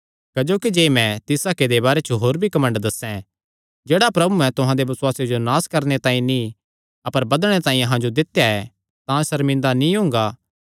क्जोकि जे मैं तिस हक्के दे बारे च होर भी घमंड दस्सें जेह्ड़ा प्रभुयैं तुहां दे बसुआसे जो नास करणे तांई नीं अपर बधणे तांई अहां जो दित्या ऐ तां सर्मिंदा नीं हुंगा